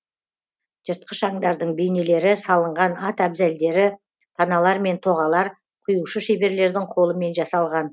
жыртқыш аңдардың бейнелері салынған ат әбзелдері таналар мен тоғалар құюшы шеберлердің қолымен жасалған